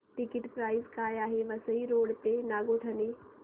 ticket price काय आहे Vasai road ते नागोठणे